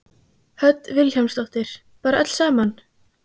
Hödd Vilhjálmsdóttir: Bara öll saman?